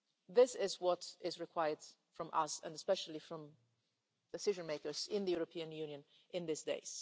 This is what is required from us and especially from decision makers in the European Union today.